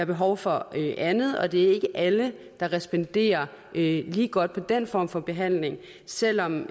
behov for andet og det er ikke alle der responderer lige lige godt på den form for behandling selv om